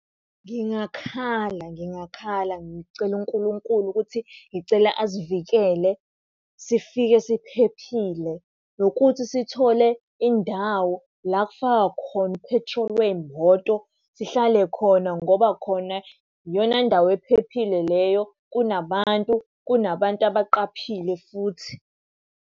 Ngingakhala ngingakhala, ngicele uNkulunkulu ukuthi ngicela asivikele sifike siphephile, nokuthi sithole indawo la kufakwa khona u-petrol wey'moto sihlale khona ngoba khona iyona ndawo ephephile leyo, kunabantu, kunabantu abaqaphile futhi.